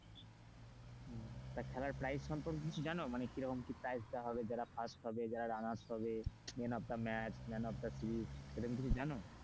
খেলার price সম্পর্কে কিছু জানো? মানে কি রকম কি price দেওয়া হবে যারা first হবে যারা রানার্স হবে man of the match, man of the এই রকম কিছু জান,